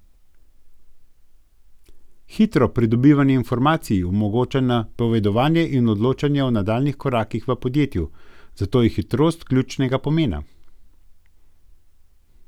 Hitro pridobivanje informacij omogoča napovedovanje in odločanje o nadaljnjih korakih v podjetju, zato je hitrost ključnega pomena.